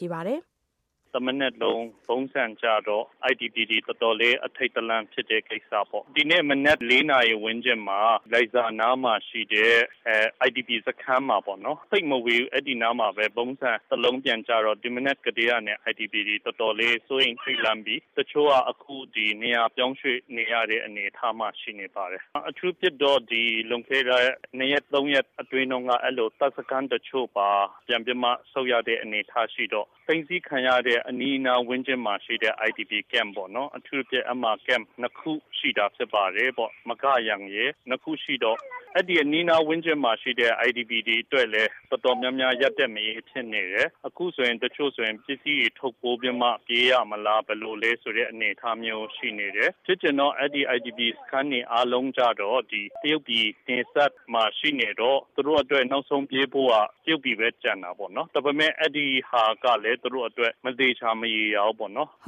ြေ။ ။တမနက်လုံး ဗုံးသံကြားတော့ IDP တွေတော်တော်လေး ထိတ်လန့်တဲ့ကိစ္စပေါ့။ ဒီနေ့မနက် ၄ နာရီ ဝန်းကျင်မှာ လိုင်ဇာနားမှာရှိတဲ့ IDP စခန်းမှာ သိပ်မဝေးဘူးအဲဒီနားမှာပဲ ဗုံးဆန် ကျတော့ မနက်ကတည်းကနေ IDP တွေတော်တော်လေး စိုးရိမ်ထိတ်လန့်ပြီး သူတို့က အခုနေရာပြောင်းရွေ့ရတဲ့ အနေအထားမှာ ရှိနေပါတယ်။ အထူးသဖြင့်တော့ လွန်ခဲ့တဲ့ ၂ ရက် ၃ ရက်အတွင်း တပ်စခန်းတချို့ပါ ပြန်ပြီးတော့ ဆုတ်ရတဲ့အနေအထားရှိတော့ အနီးအနားဝန်းကျင်မှာရှိတဲ့ IPD camp ပေါ့နော် အထူးသဖြင့် အဲဒီမှာ camp ၂ ခုရှိတာဖြစ်ပါတယ် မဂါယန်ရယ် ၂ ခုရှိတော့ အဲဒီအနီးအနားမှာရှိတဲ့ IPD တွေအတွက်လည်း တော်တော်များများ ထိန့်လန့်နေကြတယ်။ အခုတချို့ဆိုရင် ပစ္စည်းတွေထုတ်ပြီးတော့ ပြေးရမလား ဆိုတဲ့အနေအထားမျိုးရှိနေတယ်။ ဖြစ်ချင်တော့ အဲဒီ IDP စခန်းတွေအားလုံးက တရုတ်ပြည်နယ်စပ်မှာ ဖြစ်နေတော့ သူတို့အတွက် နောက်ဆုံးပြေးဖို့က တရုတ်ပြည်ပဲ ကျန်တာပေါ့နော် ဒါပေမယ့် အဲဒါကလည်း သူတို့အတွက် မသေချာ ဘူးပေါ့နော်။ မေး။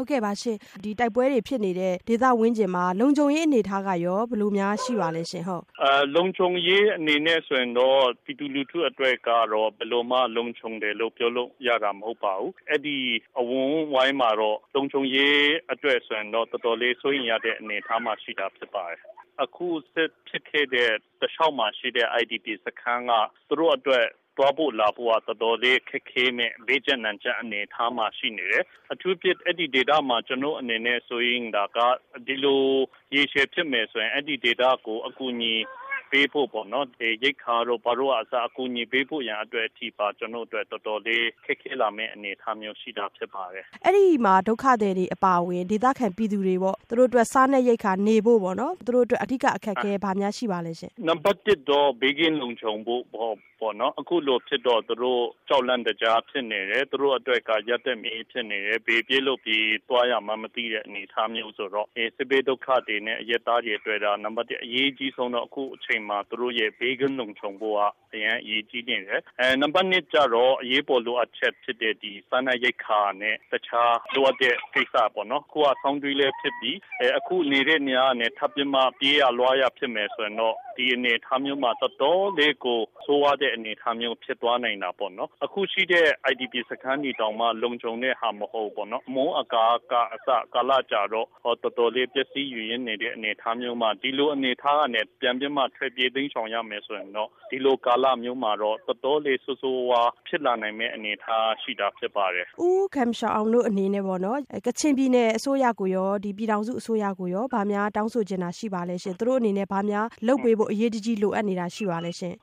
။ဒီတိုက်ပွဲတွေဖြစ်နေတဲ့ ဒေသဝန်းကျင်မှာ လုံခြုံရေးအနေအထားကရော ဘယ်လိုများရှိပါသလဲရှင့်။ ဖြေ။ ။လုံခြုံရေးအနေနဲ့ ဆိုရင်တော့ ပြည်သူလူထုအတွက်ကတော့ ဘယ်လိုမှ လုံခြုံတယ်လို့ ပြောလို့မရပါဘူး။ အဲဒီအဝန်းအဝိုင်းမှာတော့ လုံခြံရေးအတွက်ဆိုရင် တော်တော်လေးစိုးရိမ်ရတဲ့ အနေအထားရှိနေပါတယ်။ အခုစစ်ဖြစ်ခဲ့တဲ့ တလျှောက်မှာရှိတဲ့ IDP စခန်းက သူတို့အတွက် သွားဖို့လာဖို့ကတော်တော်လေး ဘေးကျပ်နံကျပ်အနေအထားမှာရှိနေတယ်။ အထူးသဖြင့် အဲဒီဒေသမှာ ကျနော့်အနေနဲ့ စိုးရိမ်တာက ရေရှည်ဖြစ်မယ်ဆိုရင် အဲဒီဒေသကို အကူအညီပေးဖို့ပေါ့နော် ရိက္ခာတို့ ဘာတို့ အကူအညီပေးဖို့ရန် တော်တော်လေးခက်ခဲလာမယ့်အနေအထားရှိတာဖြစ်ပါတယ်။ မေး။ ။အဲဒီမှာ ဒုက္ခသည်ပြည်သူတွေအပါအဝင် သူတို့အတွက် စားနပ်ရိက္ခာနေဖို့ သူတို့အတွက် အဓိက ဘာများအခက်အခဲရှိပါသလဲရှင့်။ ဖြေ။ ။နံပတ်၁ ကတော့ ဘေးကင်းလုံခြုံဖို့ပေါ့နော်၊ အခုလိုဖြစ်တော့ သူတို့ ကြောက်လန့်နေကြတယ်။ သူတို့အတွက် ဘယ်ပြေးလို့၊ ဘယ်သွားရမလဲ မသိတဲ့အနေအထားမျိုးဆိုတော့ စစ်ဘေးဒုက္ခသည်တွေနဲ့ အရပ်သားတွေနဲ့ နံပတ် ၁ အရေးကြီးဆုံးကတော့ အခုအချိန်မှာ သူတို့ ဘေးကင်းလုံခြုံဖို့က အရမ်းအရေးကြီးနေတယ်။ နံပတ် ၂ ကျတော့ အရေးပေါ်လိုအပ်ချက်ဖြစ်တဲ့ စားနပ်ရိက္ခာ နဲ့ တခြားလိုအပ်တဲ့ကိစ္စပေါ့နော် ၊ အခုက ဆောင်းတွင်းလည်းဖြစ်တယ်၊ အခုနေတဲ့နေရာကနေ ပြေးရမယ်ဆိုရင် ဒီအနေအထားမျိုးမှာ တော်တော်လေးကို ဆိုးဝါး တဲ့အနေအထားမျိုးဖြစ်သွားနိုင်တာပေါ့။ အခုရှိတဲ့ IDP စခန်းတွေတောင်မှ လုံခြုံတဲ့ဟာ မဟုတ်ဘူးပေါ့နော်။ အမိုးအကာကအစ ကာလကြာနေတော့ တော်တော်လေးပျက်စီးနေတဲ့အနေအထားမျိုးမှာ ဒီလိုအနေအထားကနေ ပြန်ပြီးမှ ထွက်ပြေးတိမ်းရှောင်ရမယ်ဆိုရင်တော့ ဒီလိုကာလမျိုးမှာတော့ တော်တော်လေးဆိုးဆိုးဝါးဝါးဖြစ်လာနိုင်မယ့်အနေအထားမျိုးရှိတာဖြစ်ပါတယ်။ မေး။ ။ U Gum Sha Awng တို့အနေအနဲ့ပေါ့နော် ကချင်ပြည်နယ်အစိုးရကိုရော ပြည်ထောင်စု အစိုးရကိုရော ဘာများတောင်းဆိုချင်တာရှိပါသလဲရှင့်။ ဘာများသူတို့အနေနဲ့ အရေးတကြီးလိုအပ်တာလုပ်ပေးဖို့ ရှိပါသလဲရှင့် ။ ဖြေ။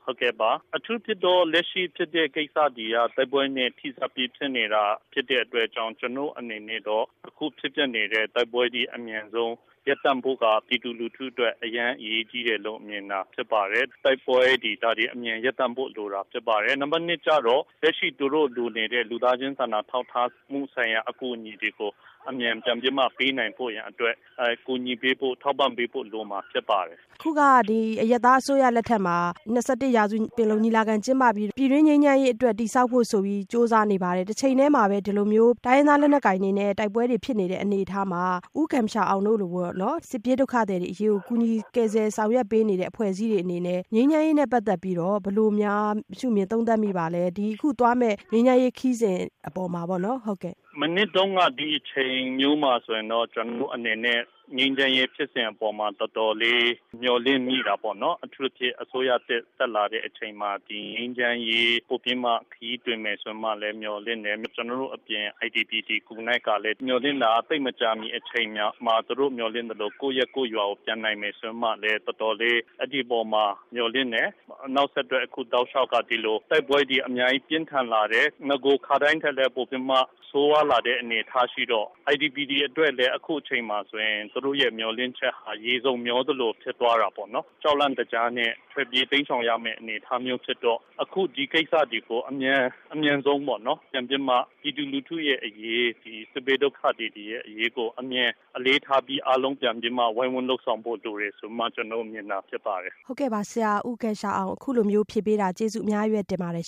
။အထူးသဖြင့်တော့ လက်ရှိဖြစ်တဲ့ ကိစ္စတွေက တိုက်ပွဲနဲ့ ဆက်စပ်ပြီးတော့ ဖြစ်နေတာဖြစ်တဲ့အတွက်ကြောင့် ကျနော်တို့အနေနဲ့တော့ အခုဖြစ်နေတဲ့ တိုက်ပွဲအမြန်ဆုံး ရပ်တန့်ဖို့က ပြည်သူလူထုအတွက် အရမ်းအရေးကြီးတယ်လို့ မြင်ပါတယ်။ တိုက်ပွဲတွေ ဒါတွေ အမြန်ရပ်တန့်ဖို့လိုတာ ဖြစ်ပါတယ်။ နံပတ် ၂ ကျတော့ လူသားချင်းဆိုင်ရာ ထောက်ထားတဲ့ အကူအညီတွေကို မြန်မြန်ပေးနိုင်ဖို့ရန်အတွက် ကူညီပေးဖို့ ထောက်ပံ့ပေးဖို့ လိုမှာဖြစ်ပါတယ်။ မေး။ ။အခုက အရပ်သားအစိုးရသစ်လက်ထက်မှာ ၂၁ ရာစု ပင်လုံညီလာခံ ကျင်းပပြီး ပြည်တွင်းငြိမ်းချမ်းရေးအတွက် တည်ဆောက်ဖို့ဆိုပြီး ကြိုးစားနေပါတယ်။ တချိန်တည်းမှာလည်း ဒီလိုမျိုး တိုင်းရင်းသား လက်နက်ကိုင်တွေနဲ့ တိုက်ပွဲတွေဖြစ်နေတဲ့ အနေအထားမှာ U Gum Sha Awng တို့လို စစ်ပြေးဒုက္ခသည်တွေအတွက် ကူညီဆောင်ရွက်ပေးနေတဲ့ အဖွဲ့အစည်းတွေအနေနဲ့ ငြိမ်းချမ်းရေးနဲ့ ပတ်သက်ပြီး ဘယ်လိုများရှု့မြင်သုံးသပ်မိပါသလဲ၊ အခုသွားမယ့် ငြိမ်းချမ်းရေးခရီးစဉ် အပေါ်မှာပေါ့နော်။ ဖြေ။ ။မနှစ်တုန်းက ဒီလိုမျိုးအချိန်မျိုးမှာ ကျနော်တို့အနေနဲ့ ငြိမ်းချမ်းရေးခရီးစဉ်အပေါ်မှာ တော်တော်လေး မျှော်လင့်မိတာပေါ့နော်။ အထူးသဖြင့်အစိုးရသစ်တက်လာတဲ့အချိန်မှာ ဒီငြိမ်းချမ်းရေး ပိုပြီးတော့မှ ခရီးတွင်မယ်ဆိုပြီးတော့မှ မျှော်လင့်တယ် ၊ ကျနော်တို့အပြင် IDP တွေကလည်း မျှော်လင့်တာ သိပ်မကြာမီအချိန်မှာ သူတို့မျှော်လင့်သလို ကိုယ့်အရပ်ကိုယ့်ရွာကိုပြန်နိုင်မယ်ဆိုပြီးမှ တော်တော်လေး အဲဒီအပေါ်မှာ မျှော်လင့်တယ်။ အခုက နောက်ဆက်တွဲ တိုက်ပွဲတွေပြင်းထန်လာတယ် ၊နဂို ထက်ဆိုးလာတဲ့အနေအထားရှိတော့ IDP တွေအတွက်လည်း အခုအချိန်မှာ သူတို့မျှော်လင့်ချက်က ရေစုန်မျှောသလို ဖြစ်သွားတာပေါ့နော် ။ ကြောက်လန့်တကြားနဲ့ ထွက်ပြေးတိမ်းရှောင်ရမယ့်အနေအထားဖြစ်တော့ အခုဒီကိစ္စတွေကို အမြန်ဆုံးပေါ့နော် ပြည်သူလူထုအရေး၊ စစ်ဘေးဒုက္ခသည်တွေရဲ့အရေးကို အမြန်အလေးထားပြီး အားလုံးပြန်ပြီးတော့မှ ဝိုင်းဝန်းလုပ်ဆောင်ဖို့လိုတယ်ဆိုပြီး ကျနော့်အနေနဲ့ တောင်းဆိုချင်တာဖြစ်ပါတယ်။ မေး။ ။ ဟုတ်ကဲ့ပါ ဆရာ U Gum Sha Awng အခုလိုဖြေပေးတာ ကျေးဇူးအများကြီးတင်ပါတယ်ရှင်